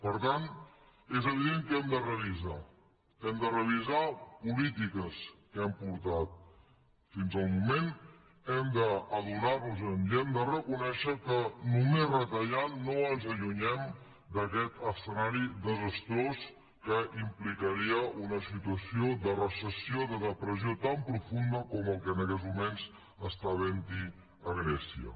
per tant és evident que hem de revisar hem de revisar polítiques que hem portat fins al moment hem d’adonar nos i hem de reconèixer que només retallant no ens allunyem d’aquest escenari desastrós que implicaria una situació de recessió de depressió tan profunda com la que en aquests moments hi ha a grècia